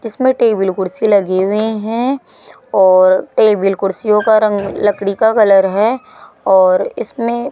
इसमें टेबल कुर्सी लगे हुए हैं और टेबल कुर्सियों का रंग लकड़ी का कलर है और इसमें --